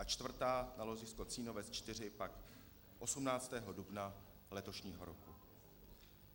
A čtvrtá na ložisko Cínovec 4 pak 18. dubna letošního roku.